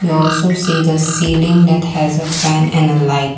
and also see the ceiling at has a fan and a light.